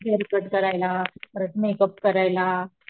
hair cut करायला परत makeup करायला,